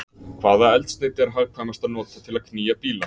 Hvaða eldsneyti er hagkvæmast að nota til að knýja bíla?